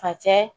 Facɛ